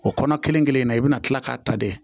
O kɔnɔ kelen kelen in na i bɛna kila k'a ta de